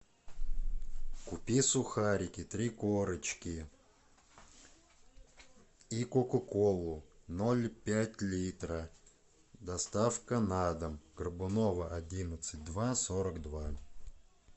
купи сухарики три корочки и кока колу ноль пять литра доставка на дом горбунова одиннадцать два сорок два